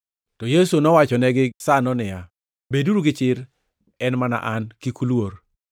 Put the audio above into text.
To Yesu nowachonegi gisano niya, “Beduru gi chir! En mana An. Kik uluor.”